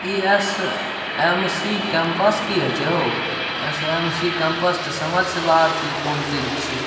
इ SMC. Campus की होय छै हो इ एस.एम.सी. कैंपस ते समझ से बाहर छै इ कौन चीज छै।